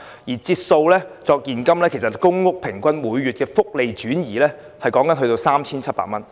如以現金折算，公屋每月平均的福利轉移達 3,700 元。